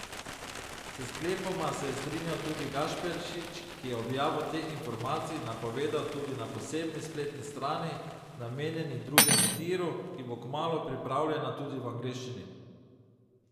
S sklepoma se je strinjal tudi Gašperšič, ki je objavo teh informacij napovedal tudi na posebni spletni strani, namenjeni drugemu tiru, ki bo kmalu pripravljena tudi v angleščini.